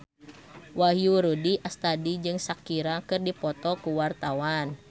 Wahyu Rudi Astadi jeung Shakira keur dipoto ku wartawan